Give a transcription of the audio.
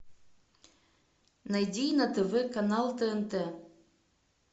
найди на тв канал тнт